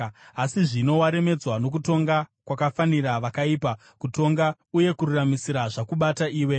Asi zvino waremedzwa nokutonga kwakafanira vakaipa; kutonga uye kururamisira zvakubata iwe.